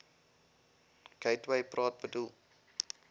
gateway praat bedoel